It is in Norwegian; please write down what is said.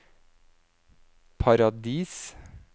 Paradis